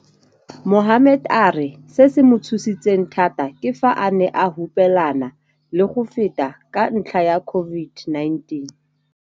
Mohammed a re se se mo tshositseng thata ke fa a ne a hupelana le go feta ka ntlha ya COVID-19.